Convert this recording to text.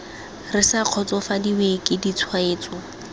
re sa kgotsofadiwe ke ditshwetso